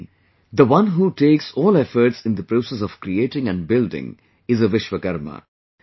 Meaning, the one who takes all efforts in the process of creating and building is a Vishwakarma